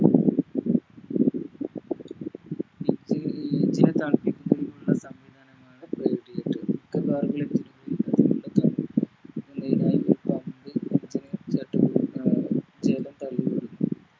സംവിധാനമാണ്